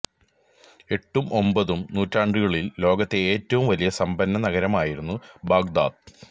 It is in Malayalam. എട്ടും ഒമ്പതും നൂറ്റാണ്ടുകളില് ലോകത്തെ എറ്റവും വലിയ സമ്പന്ന നഗരമായിരുന്ന ബാഗ്ദാദ്